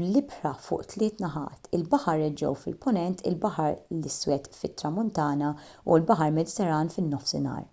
bl-ibħra fuq tliet naħat il-baħar eġew fil-punent il-baħar l-iswed fit-tramuntana u l-baħar mediterran fin-nofsinhar